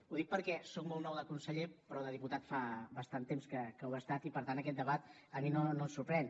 ho dic perquè soc molt nou de conseller però de diputat fa bastant de temps que ho he estat i per tant aquest debat a mi no em sorprèn